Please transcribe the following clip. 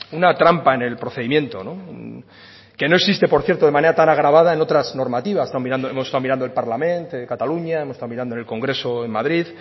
una trampa en el procedimiento que no existe por cierto de manera tan agravada en otras normativas hemos estado mirando el parlament de cataluña hemos estado mirando en el congreso en madrid